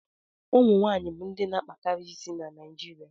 ụmụ nwaanyị bụ ndị na akpakarị isi na Naijirịa